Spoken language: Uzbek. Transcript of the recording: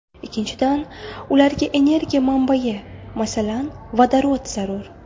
Ikkinchidan, ularga energiya manbayi, masalan, vodorod zarur.